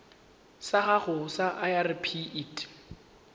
sa gago sa irp it